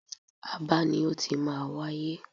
Aba ni ó ti máa wáyé.